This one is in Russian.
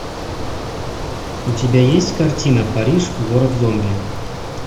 у тебя есть картина париж город зомби